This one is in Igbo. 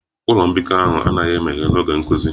Ụlọ mbikọ ahụ anaghị emeghe n'oge nkuzi